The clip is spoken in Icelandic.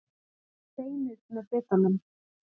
Að fá beinið með bitanum